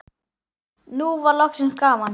Nú var loksins gaman.